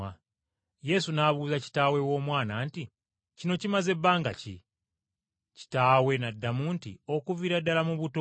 Yesu n’abuuza kitaawe w’omwana nti, “Kino kimaze bbanga ki?” Kitaawe n’addamu nti, “Okuviira ddala mu buto.